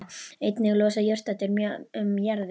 Einnig losa jurtarætur mjög um jarðveg.